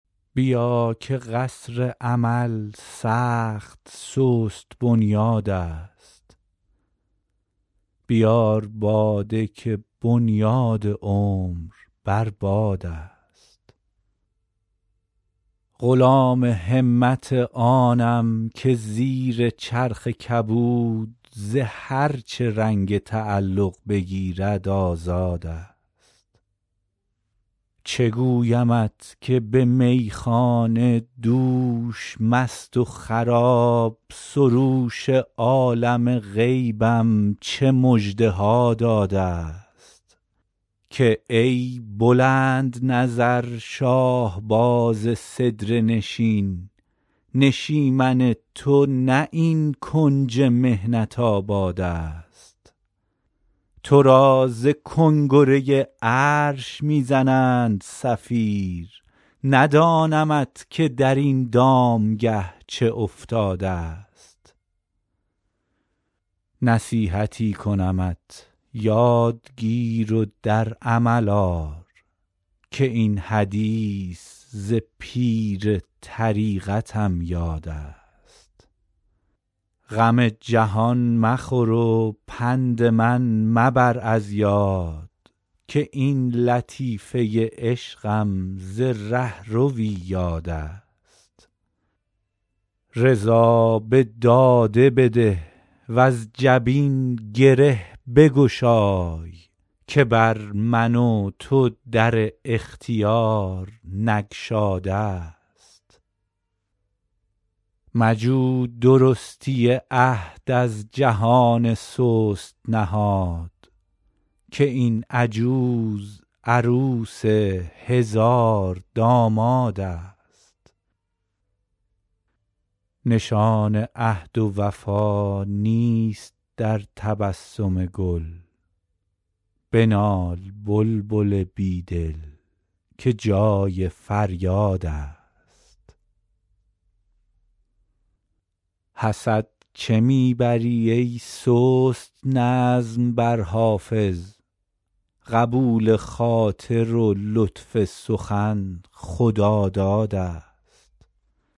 بیا که قصر امل سخت سست بنیادست بیار باده که بنیاد عمر بر بادست غلام همت آنم که زیر چرخ کبود ز هر چه رنگ تعلق پذیرد آزادست چه گویمت که به میخانه دوش مست و خراب سروش عالم غیبم چه مژده ها دادست که ای بلندنظر شاهباز سدره نشین نشیمن تو نه این کنج محنت آبادست تو را ز کنگره عرش می زنند صفیر ندانمت که در این دامگه چه افتادست نصیحتی کنمت یاد گیر و در عمل آر که این حدیث ز پیر طریقتم یادست غم جهان مخور و پند من مبر از یاد که این لطیفه عشقم ز رهروی یادست رضا به داده بده وز جبین گره بگشای که بر من و تو در اختیار نگشادست مجو درستی عهد از جهان سست نهاد که این عجوز عروس هزاردامادست نشان عهد و وفا نیست در تبسم گل بنال بلبل بی دل که جای فریادست حسد چه می بری ای سست نظم بر حافظ قبول خاطر و لطف سخن خدادادست